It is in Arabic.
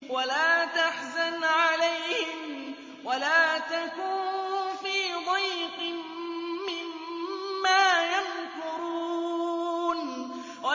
وَلَا تَحْزَنْ عَلَيْهِمْ وَلَا تَكُن فِي ضَيْقٍ مِّمَّا يَمْكُرُونَ